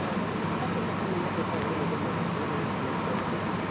kassa çekinin ümumiyyətlə təqdim edilməməsi bu vergidən yayınma halıdır.